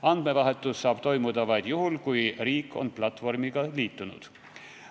Andmevahetus saab toimuda vaid juhul, kui riik on platvormiga liitunud.